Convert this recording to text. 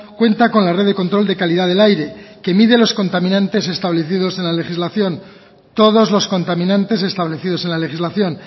cuenta con la red de control de calidad del aire que mide los contaminantes establecidos en la legislación todos los contaminantes establecidos en la legislación